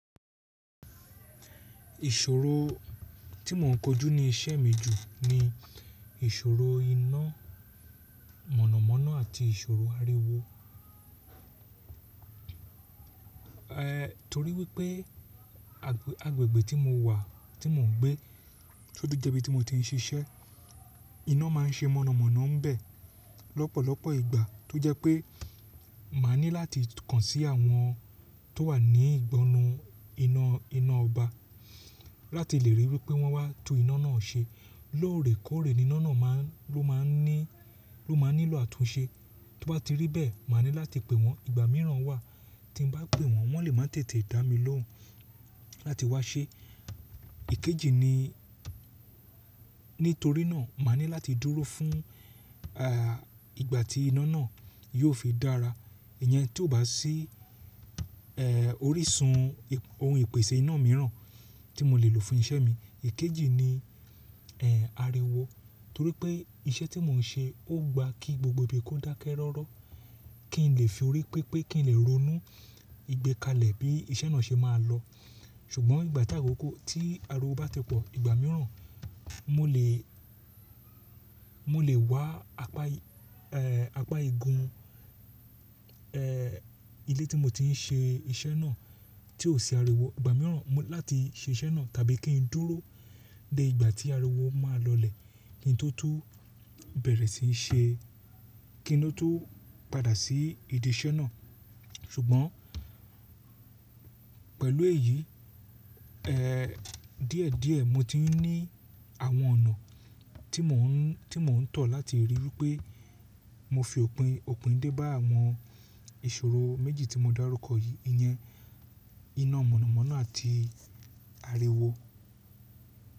Ìṣòro tí mò ń kojú ní iṣẹ́ mi jù ni ìṣòro iná mọ̀nàmọ́ná àti ìṣòro ariwo. Torí wípé agbègbè tí mo wà tí mò ń gbé, to tu jẹ́ ibi tí mo ti ń ṣiṣẹ́. Iná máa ń ṣe mọ̀nàmọ́ná ń bẹ̀ lọ́pọ̀lọpọ̀ ìgbà, tó jẹ́ pé màá ní láti kàn sí àwọn tó wà ní ìgbọnnu iná iná ọba láti lè ríi wípé wọ́n wá tú iná náà ṣe. Lóòrèkóòrè ni iná náà máa ń nílò àtúnṣe. Tó bá ti rí bẹ́ẹ̀, màá ní láti pe wọ́n. Ìgbà mìíràn wà tí bá ń pe wọ́n, wọ́n lè máa tètè dá mi lóhùn láti wá ṣe. Ìkejì ni nítorí náà, màá ní láti dúró fún ìgbà tí iná náà yóò fi dára. Ìyẹn tí ó bá sí orísun ohun ìpèsè iná mìíràn tí mo lè lò fún iṣẹ́ mi. Ìkejì ni ariwo, torí pé iṣẹ́ tí mò ń ṣe ó gba kí gbogbo ibi kó dákẹ́ rọ́rọ́, kí n lè fi òré pépé kí n lè ronú ìgbẹ́kalẹ̀ bí iṣẹ́ náà ṣe máa lọ. Ṣùgbọ́n ìgbà tí ariwo bá ti pọ̀, ìgbà mìíràn mo lè wá apá igun ilé tí mo ti ń ṣe iṣẹ́ náà tí ò sí ariwo. Ìgbà mìíràn mo ni láti ṣe iṣẹ́ náà tàbí kí n dúró di ìgbà tí ariwo máa lọlẹ̀ kí n tó tú kí n tó padà sí idi iṣẹ́ náà. Ṣùgbọ́n pẹ̀lú èyí, díẹ̀díẹ̀ mo ti ní àwọn ọ̀nà mò ń tọ̀ láti ríi wípé mo fi òpín dé bá àwọn ìṣòro méjì tí mo dárúkọ yìí. Ìyẹn iná mọ̀nàmọ́ná àti ariwo.